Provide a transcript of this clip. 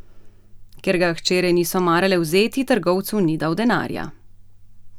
Ker ga hčere niso marale vzeti, trgovcu ni dal denarja.